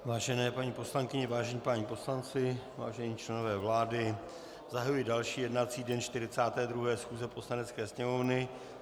Vážené paní poslankyně, vážení páni poslanci, vážení členové vlády, zahajuji další jednací den 42. schůze Poslanecké sněmovny.